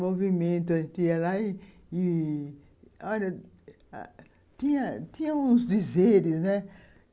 movimento, a gente ia lá e... Olha, tinha tinha uns dizeres, né?